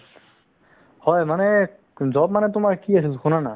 হয় মানে job মানে কি আছিল তুমাৰ শুনা না